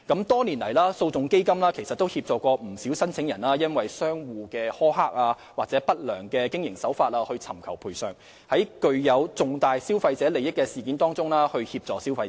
多年來，基金曾協助不少申請人就商戶的苛刻或不良經營手法索償，並在具有重大消費者利益的事件中協助消費者。